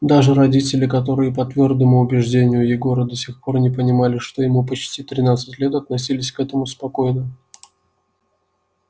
даже родители которые по твёрдому убеждению егора до сих пор не понимали что ему почти тринадцать лет относились к этому спокойно